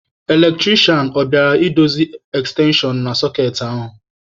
Eletrisha, ọ bịala I dozi ekstenshon na sọkeetị ahụ?